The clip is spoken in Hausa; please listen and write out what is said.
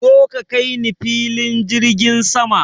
Zo ka kaini filin jirgin sama!